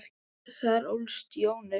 Þar ólst Jón upp.